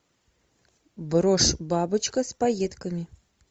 брошь бабочка с пайетками